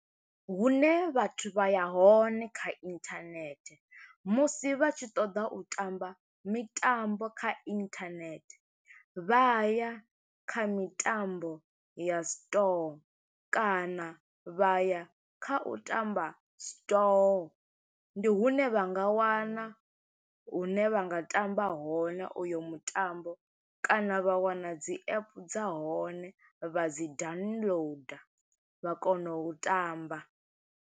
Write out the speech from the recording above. Hune vhathu vha ya hone kha internet, musi vha tshi ṱoḓa u tamba mitambo kha internet. Vha ya kha mitambo ya Store, kana vha ya kha u tamba Store. Ndi hune vha nga wana hune vha nga tamba hone uyo mutambo, kana vha wana dzi app dza hone, vha dzi downloader, vha kona u tamba.